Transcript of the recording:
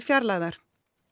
fjarlægðar